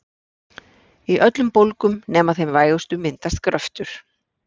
Í öllum bólgum nema þeim vægustu myndast gröftur.